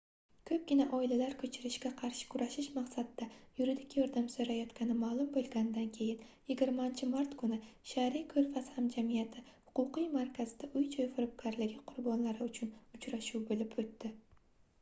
koʻpgina oilalar koʻchirishga qarshi kurashish maqsadida yuridik yordam soʻrayotgani maʼlum boʻlganidan keyin 20-mart kuni shariy koʻrfaz hamjamiyati huquqiy markazida uy-joy firibgarligi qurbonlari uchun uchrashuv boʻlib oʻtdi